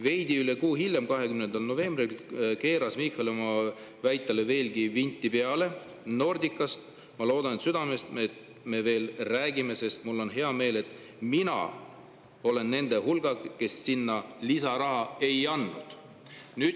" Veidi üle kuu hiljem, 20. novembril keeras Michal oma väitele veelgi vinti peale: "Nordicast – ma loodan südamest – me veel räägime, sest mul on hea meel, et mina olen nende hulgas, kes sinna lisaraha ei andnud."